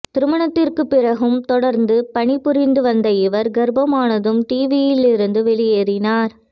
திருமணத்திற்கு பிறகும் தொடர்ந்து பணி புரிந்து வந்த இவர் கர்பமானதும் டிவியில் இருந்து வெளியேறினார்